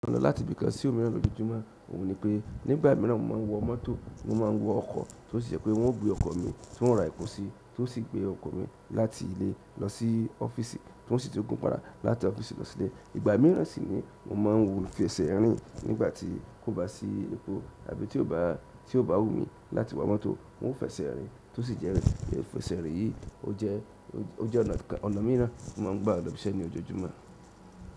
Mo lò láti bí i kan sí òmíràn lójoójúmọ́. Mo ní pé nígbà mìíràn mo máà ń wọ mọ́tò, mo máà ń wọ ọkọ̀ tó sì ṣe pé wọ́n ó gbé ọkọ̀ mi tí wọ́n ó ra epo sí tó sì gbé ọkọ̀ mi láti ilé lọ sí ọ́fíìsì tó sì tún gun padà láti ọ́fíìsì lọ sí ilé. Ìgbà mìíràn sì ni mo máà ń fi ese rìn nígbà tí kò bá sí èpò àbí tí ó bá wù mí láti wọ mọ́tò mo ń fẹsẹ̀ rìn lo sì iẹ́ rí. Fèse rìn yìí ó jẹ́ ọ̀nà míì ran tí mo ń gbà lò bí i ṣe ní ojoojúmọ́.